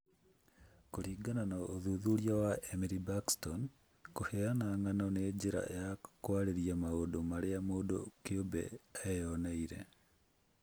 Kũringana na ũthuthuria wa Emily Baxtrom, kũheana ng'ano nĩ njĩra ya kwaria maũndũ marĩa mũndũ kĩũmbe eeyoneire